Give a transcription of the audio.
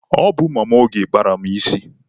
Ọ bụ Mama Oge kpara m isi.